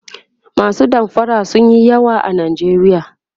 masu damfara sunyi yawa a nijeriya